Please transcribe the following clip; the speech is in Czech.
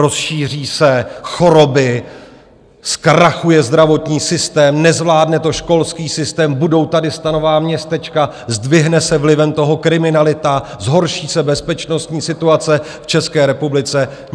Rozšíří se choroby, zkrachuje zdravotní systém, nezvládne to školský systém, budou tady stanová městečka, zdvihne se vlivem toho kriminalita, zhorší se bezpečnostní situace v České republice...